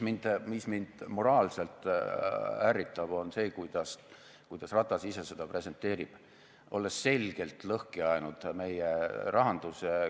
Mis mind moraalselt ärritab, on see, kuidas Ratas ise seda presenteerib, olles selgelt lõhki ajanud meie rahanduse.